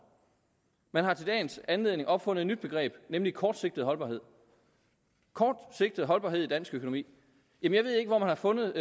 man har til dagens anledning opfundet et nyt begreb nemlig kortsigtet holdbarhed kortsigtet holdbarhed i dansk økonomi jeg ved ikke hvor man har fundet